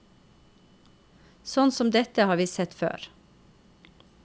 Sånt som dette har vi sett før.